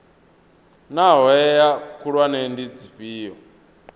naa hoea khulwane ndi dzifhio